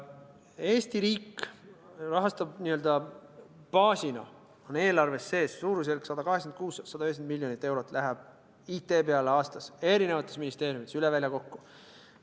Eesti riik rahastab n-ö baasina, eelarves on sees suurusjärk 190 miljonit eurot, mis läheb aastas IT-peale erinevates ministeeriumites üle välja kokku.